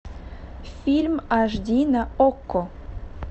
фильм аш ди на окко